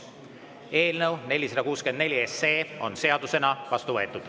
Eelnõu 464 on seadusena vastu võetud.